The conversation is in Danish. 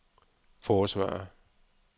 forsvarer